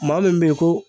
Maa min bɛ ye ko